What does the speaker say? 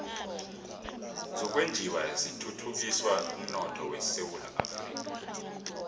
zokwenjiwa zithuthukisa umnotho esewula afrika